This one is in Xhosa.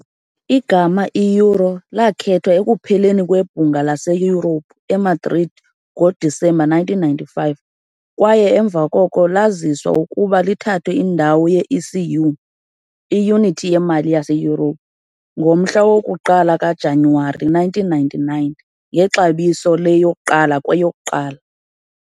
Igama i- "euro" lakhethwa ekupheleni kweBhunga laseYurophu eMadrid ngoDisemba 1995, kwaye emva koko laziswa ukuba lithathe indawo ye- ECU, "iYunithi yeMali" yaseYurophu, ngomhla woku-1 kuJanuwari 1999 ngexabiso le-1- 1.